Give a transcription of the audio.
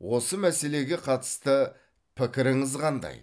осы мәселеге қатысты пікіріңіз қандай